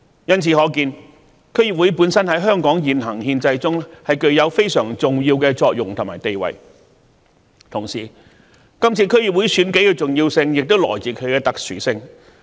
由此可見，區議會本身在香港現行憲制中具有非常重要的作用和地位，同時，今次區議會選舉的重要性亦來自其特殊性。